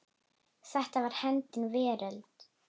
Þetta var hennar veröld.